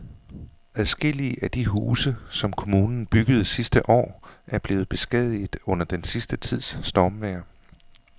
Adskillige af de huse, som kommunen byggede sidste år, er blevet beskadiget under den sidste tids stormvejr.